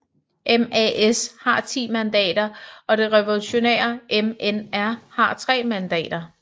MAS har 10 mandater og det revolutionære MNR har tre mandater